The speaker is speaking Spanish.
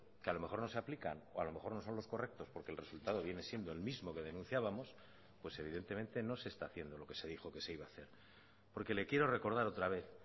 que a lo mejor no se aplican o a lo mejor no son los correctos porque el resultado viene siendo el mismo que denunciábamos pues evidentemente no se está haciendo lo que se dijo que se iba a hacer porque le quiero recordar otra vez